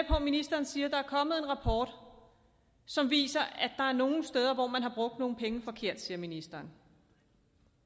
ministeren siger at der er kommet en rapport som viser at der er nogle steder hvor man har brugt nogle penge forkert det siger ministeren